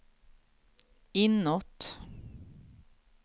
inåt